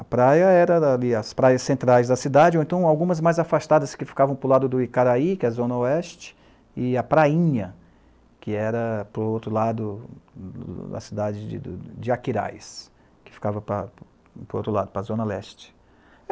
A praia era ali, as praias centrais da cidade, ou então algumas mais afastadas, que ficavam para o lado do Icaraí, que é a zona oeste, e a prainha, que era para o outro lado da cidade de de Aquiraz, que ficava para, para o outro lado, para a zona leste.